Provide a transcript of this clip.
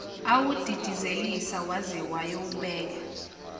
awudidizelisa waze wayowubeka